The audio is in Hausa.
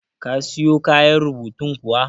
Ka siyo kayan rubutun kuwa?